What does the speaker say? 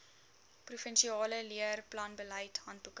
provinsiale leerplanbeleid handboeke